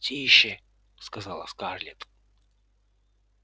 тише сказала скарлетт